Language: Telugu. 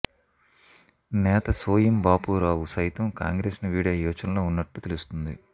నేత సోయం బాపూరావు సైతం కాంగ్రెస్ను వీడే యోచనలో ఉన్నట్టు తెలుస్తోంది